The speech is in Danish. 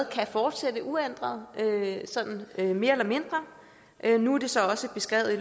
kan fortsætte uændret sådan mere eller mindre nu er det så også beskrevet i